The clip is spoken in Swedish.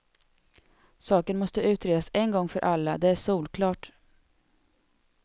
Saken måste utredas en gång för alla, det är solklart.